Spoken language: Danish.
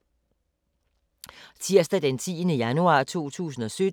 Tirsdag d. 10. januar 2017